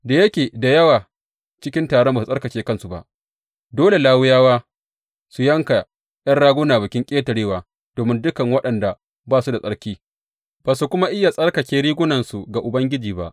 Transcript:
Da yake da yawa cikin taron ba su tsarkake kansu ba, dole Lawiyawa su yanka ’yan ragunan Bikin Ƙetarewa domin dukan waɗanda ba su da tsarki, ba su kuma iya tsarkake ragunansu ga Ubangiji ba.